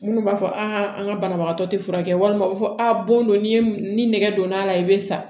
Minnu b'a fɔ an ka banabagatɔ tɛ furakɛ walima u bɛ fɔ a don ni nɛgɛ donna a la i bɛ sa